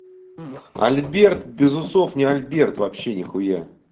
альберт без усов не альберт вообще нихуя